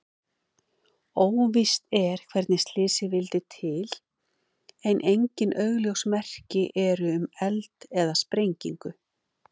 Óvíst er hvernig slysið vildi til en engin augljós merki eru um eld eða sprengingu.